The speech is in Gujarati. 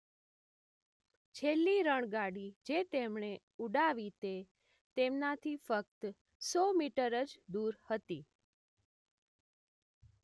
છેલ્લી રણગાડી જે તેમણે ઉડાવી તે તેમનાથી ફક્ત સો મીટર જ દૂર હતી